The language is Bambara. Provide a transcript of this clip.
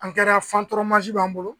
A kɛra fan tɔrɔ b'an bolo.